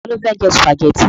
Ta ló fẹ́ jẹ sùpàgẹ́tì?